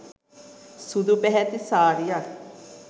සුදු පැහැති සාරියක්.